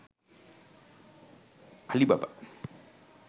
alibaba